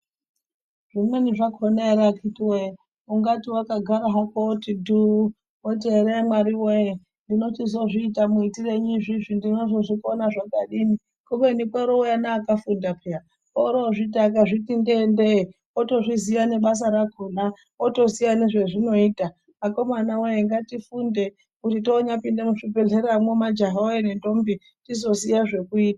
Zvimweni zvakona akiti woye ungati wakagara hako woti dhuu, woti ere Mwari woyee ndinochizozviita muitirenyu izvizvi. Ndinozozvikona kudini kubeni koorouya akafunda peya. Orozviti akazviti ndee ndee, otozviziya nebasa rakona, otoziya nezvazvinoita. Akomana woyee ngatifunde kuti tione kupinda muzvikodzero majaha woyee nendombi tizoziya zvekuita